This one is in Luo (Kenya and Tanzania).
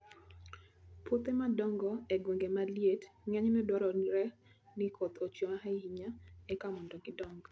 Puothe madongo e gwenge ma liet ng'enyne dwarore ni koth ochwe ahinya eka mondo gidong.